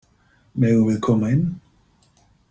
Megum við koma inn?